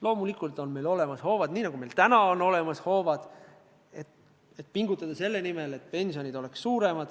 Loomulikult on meil hoovad olemas, nii nagu meil täna on olemas hoovad, mille abil pingutada selle nimel, et pension oleks suurem.